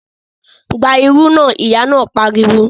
Gba irú náà! Ìyá náà pariwo